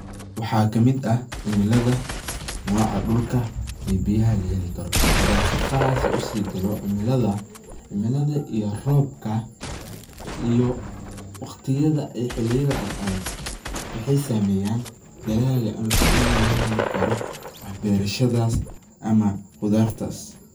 Waxa kamid ah cimilada noca dulka iyo biyaha laheli karo hadan si qas usigalo cimalada, cimilada iyo robka iyo waqtidha ee xilidhi aad adhag waxay sameyan dalaaga ama faidhadha lagaheli karo berashadas ama qodartas